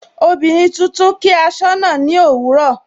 Ọmọbìnrin tuntun kí asọna ni òwúrọ̀.